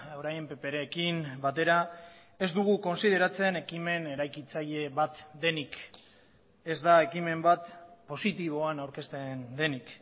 orain pprekin batera ez dugu kontsideratzen ekimen eraikitzaile bat denik ez da ekimen bat positiboan aurkezten denik